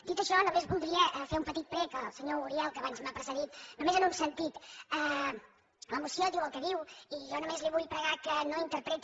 dit això només voldria fer un petit prec al senyor uriel que abans m’ha precedit només en un sentit la moció diu el que diu i jo només li vull pregar que no interpreti